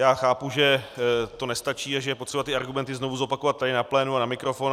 Já chápu, že to nestačí a že je potřeba ty argumenty znovu zopakovat tady na plénu a na mikrofon.